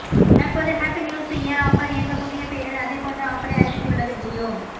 தற்போது happy new year offer என்ற புதிய பெயரில் அதேபோன்ற ஆஃபரை அறிவித்துள்ளது ஜியோ